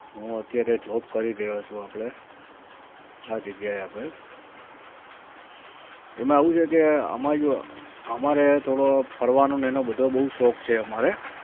હુ અત્યારે job કરી રહ્યો છુ આપડે આ જગીયા એ આપડે એમાં આવું છે કે આમાં જો અમારે થોડો ફરવાનો ને એનો બધો બહુ શૌક છે અમારે